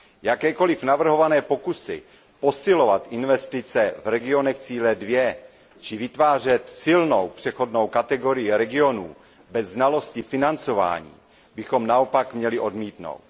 Jakékoliv navrhované pokusy posilovat investice v regionech cíle 2 či vytvářet silnou přechodnou kategorii regionů bez znalosti financování bychom naopak měli odmítnout.